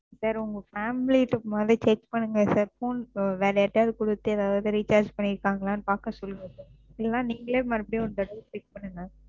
Sir உங்க Family ட்ட முதல்ல Check பண்ணுங்க Sir phone வேற யார்ட்டாவது கொடுத்து ஏதாவது Recharge பண்ணிருக்காங்களான்னு பாக்க சொல்லுங்க Sir. இல்லைன்னா நீங்களே மறுபடியும் ஒருதடவ Check பண்ணுங்க.